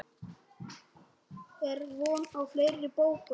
Er von á fleiri bókum?